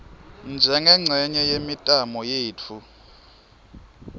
njengencenye yemitamo yetfu